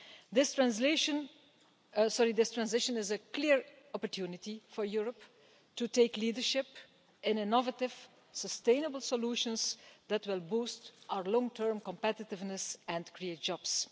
This transition is a clear opportunity for Europe to take leadership in innovative, sustainable solutions that will boost our long term competitiveness and create jobs.